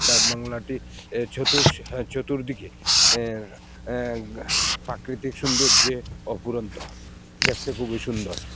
ডাকবাংলাটি এ চতুস চতুর্দিকে এ্যা এ্যা প্রাকৃতিক সৌন্দর্যে অফুরন্ত দেখতে খুবই সুন্দর।